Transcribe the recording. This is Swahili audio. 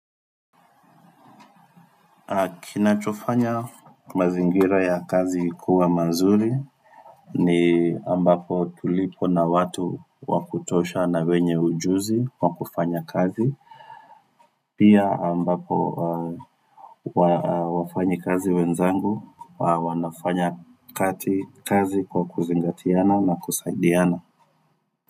Kinachofanya mazingira ya kazi kuwa mazuri ni ambapo tulipo na watu wakutosha na wenye ujuzi kwa kufanya kazi. Pia ambapo wafanyikazi wenzangu wanafanya kati kazi kwa kuzingatiana na kusaidiana.